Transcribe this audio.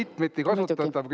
See on mitmeti kasutatav.